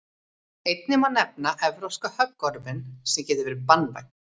einnig má nefna evrópska höggorminn sem getur verið banvænn